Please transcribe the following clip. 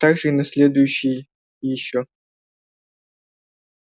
также и на следующий ещё